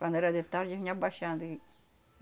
Quando era de tarde, vinha abaixando e